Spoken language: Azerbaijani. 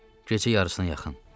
Gecə yarısına yaxın.